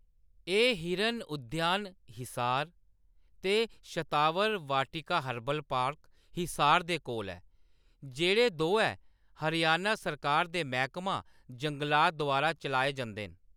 एह्‌‌ हिरन उद्यान हिसार, ते शतावर वाटिका हर्बल पार्क, हिसार दे कोल ऐ, जेह्‌‌ड़े दोऐ हरियाणा सरकार दे मैह्‌‌‌कमा जंगलात द्वारा चलाए जंदे न।